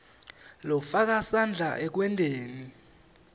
lofaka sandla ekwenteni